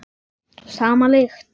Sama lykt.